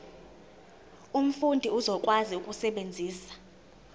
umfundi uzokwazi ukusebenzisa